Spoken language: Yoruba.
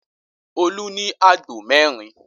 Olú ní àgbò mẹ́rin.